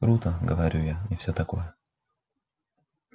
круто говорю я и всё такое